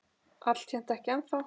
Alltént ekki ennþá.